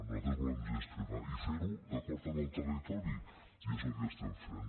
nosaltres volem gestionar i fer ho d’acord amb el territori i és el que estem fent